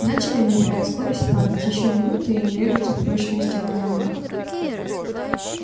начали набирая скорость падать ещё минута и они врежутся в прочную стену замка